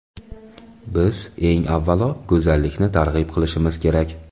Biz, eng avvalo, go‘zallikni targ‘ib qilishimiz kerak.